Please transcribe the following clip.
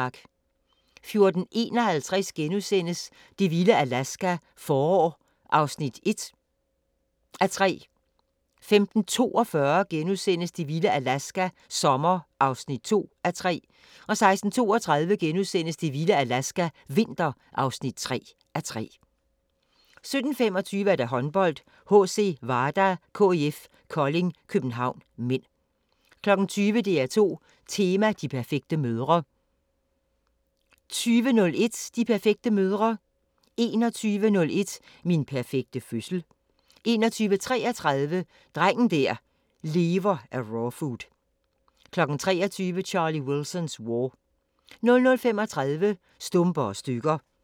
14:51: Det vilde Alaska – forår (1:3)* 15:42: Det vilde Alaska – sommer (2:3)* 16:32: Det vilde Alaska – vinter (3:3)* 17:25: Håndbold: HC Vardar-KIF Kolding København (m) 20:00: DR2 Tema: De perfekte mødre 20:01: De perfekte mødre 21:01: Min perfekte fødsel 21:33: Drengen der lever af rawfood 23:00: Charlie Wilson's War 00:35: Stumper og stykker